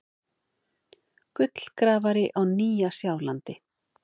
Gullgrafari á Nýja-Sjálandi.